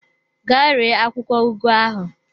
Gaa ree akwụkwọ ugu ahụ!